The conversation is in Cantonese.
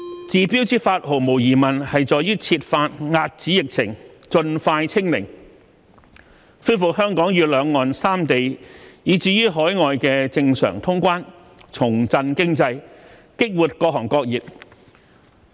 治標之法毫無疑問在於設法遏止疫情，盡快"清零"，恢復香港與兩岸三地以至海外的正常通關，重振經濟，激活各行各業。